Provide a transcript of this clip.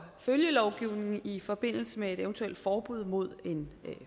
følgelovgivning i forbindelse med et eventuelt forbud mod en